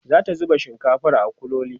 zata zuba shinkafar a kuloli